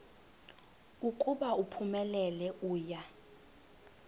ukuba uphumelele uya